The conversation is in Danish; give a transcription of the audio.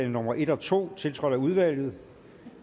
nummer en og to tiltrådt af udvalget